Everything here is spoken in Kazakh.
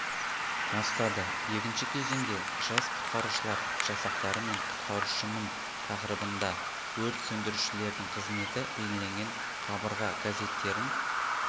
бастады екінші кезеңде жас құтқарушылар жасақтары мен құтқарушымын тақырыбында өрт сөндірушілердің қызметі бейнеленген қабырға газеттерін